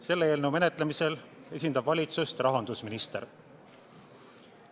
Selle eelnõu menetlemisel esindab valitsust rahandusminister.